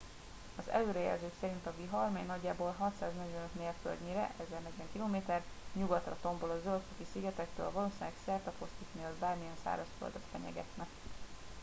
az előrejelzők szerint a vihar mely nagyjából 645 mérföldnyire 1040 km nyugatra tombol a zöld-foki szigetektől valószínűleg szertefoszlik mielőtt bármilyen szárazföldet fenyegetne